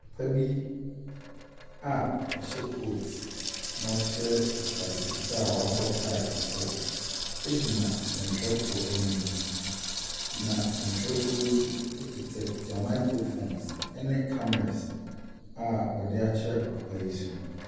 Papa bi a ɔhyɛ coat na ɔhyɛ ataade fitaa woabɔ tae kɔkɔɔ egyina nsɛntwerɛfoɔ anim. Na nsɛnkyerɛfoɔ yi ekutakuta microphones ɛne cameras a ɔdeakyerɛ papa yi so.